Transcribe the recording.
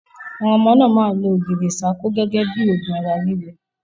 Àwọn ọmọ náà máa lo ogirisako gẹ́gẹ́ bí òògùn ara ríro.